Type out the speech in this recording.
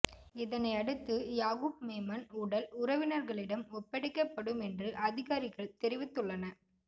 இதனை அடுத்து யாகூப்மேமன் உடல் உறவினர்களிடம் ஒப்படைக்கப்படும் என்று அதிகாரிகள் தெரிவித்துள்ள